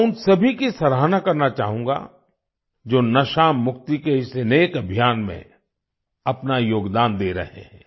मैं उन सभी की सराहना करना चाहूँगा जो नशा मुक्ति के इस नेक अभियान में अपना योगदान दे रहे हैं